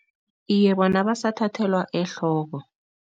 Iye, bona basathathelwa ehloko.